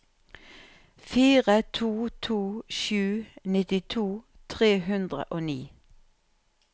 fire to to sju nittito tre hundre og ni